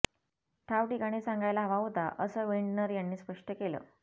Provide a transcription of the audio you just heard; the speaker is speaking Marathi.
ठावठिकाणी सांगायला हवा होता असं विंडनर यांनी स्पष्ट केलं